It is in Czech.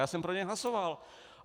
Já jsem pro něj hlasoval.